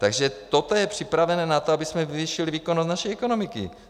Takže toto je připravené na to, abychom zvýšili výkonnost naší ekonomiky.